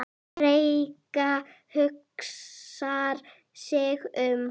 Rikka hugsar sig um.